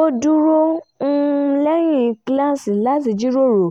ó dúró lẹ́yìn kíláàsì láti jíròrò